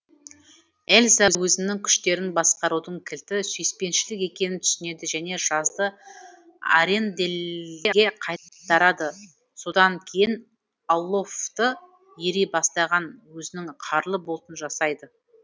эльза өзінің күштерін басқарудың кілті сүйіспеншілік екенін түсінеді және жазды аренделлге қайтарады содан кейін оллафты ери бастаған өзінің қарлы бұлтын жасайды